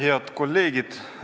Head kolleegid!